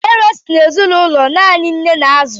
Deraa bụ nwa si n'ezinụlọ naanị nne na-azù.